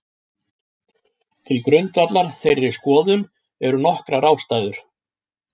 Til grundvallar þeirri skoðun eru nokkrar ástæður.